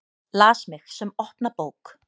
Las mig sem opna bók.